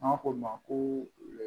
N b'a fɔ o ma ko